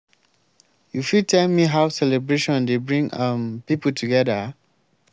you fit tell me how celebration dey bring um people together?